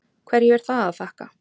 Hverju er það að þakka?